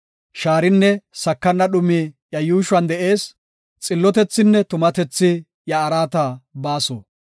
Shaarinne sakana dhumi iya yuushuwan de7ees; Xillotethinne tumatethi iya araata baaso.